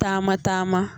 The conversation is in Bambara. Taama taama